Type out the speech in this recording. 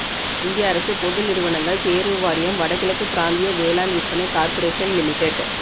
இந்திய அரசு பொது நிறுவனங்கள் தேர்வு வாரியம் வடகிழக்கு பிராந்திய வேளாண் விற்பனை கார்ப்பரேஷன் லிமிடெட்